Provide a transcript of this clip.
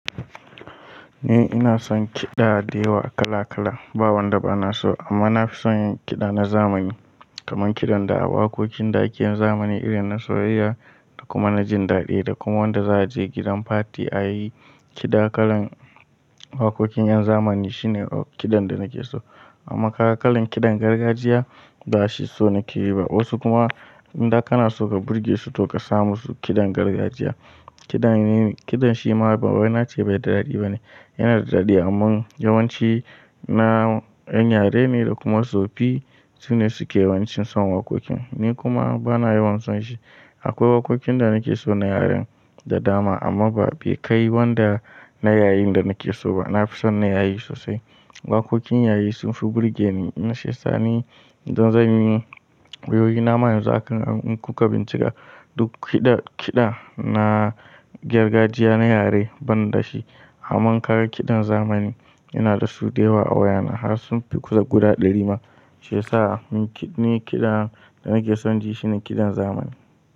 Ni ina son kiɗa da yawa kala kala, ba wanda bana so amma na fi son kiɗa na zamani. Kaman kiɗan da a waƙoƙin da ake yin zamani irin na soyayya da kuma na jin daɗi da kuma wanda za a je gidan party ayi kiɗa kalan waƙoƙin yan zamani shine kiɗan da nake so. Amma kaga kalan kiɗan gargajiya ba shi so nake yi ba. Wasu kuma indai kana so ka burge su to ka sa musu kiɗan gargajiya. Kiɗan, kiɗan shi ma bawai na ce bai da daɗi bane, yana da daɗi amma yawanci na ƴan yare ne da kuma tsofaffi sune suke yawancin son waƙoƙin. Ni kuma bana yawan son shi. Akwai waƙoƙin da nake so na yaren da dama amma be kai wanda na yayin da nake so ba. Na fi son na yayi sosai. Waƙoƙin yayi sunfi burge ni. Kumashi sani don zan yi wayoyi. Na ma yanzu haka in kuka bincika duk kiɗa, kiɗa na gargajiya na yare ban da shi. Amman ka ga kiɗan zamani ina da su da yawa a wayana har sunfi guda ɗari ma shiya sa ni kiɗan da nake son ji shine kiɗan zamani.